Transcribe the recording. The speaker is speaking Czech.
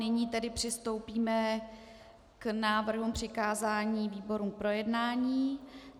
Nyní tedy přistoupíme k návrhům přikázání výborům k projednání.